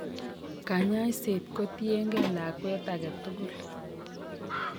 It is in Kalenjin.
Kanyaiset ko tien gee lakwet aketugul